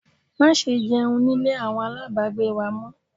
Má ṣe jẹun nílé àwọn aláàbágbé wa!